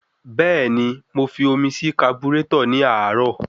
Bẹ́ẹ̀ni, mo fi omi sí kaburétọ̀ ní àárọ̀.